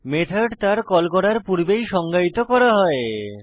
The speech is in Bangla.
মেথড তার কল করার পূর্বেই সংজ্ঞায়িত করা উচিত